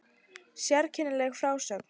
Sérkennileg frásögn